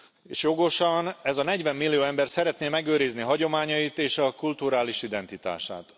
És jogosan, ez a 40 millió ember szeretné megőrizni hagyományait és kulturális identitását.